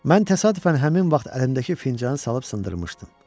Mən təsadüfən həmin vaxt əlimdəki fincanı salıb sındırmışdım.